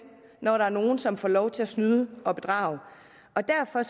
når der er nogle som får lov til at snyde og bedrage derfor er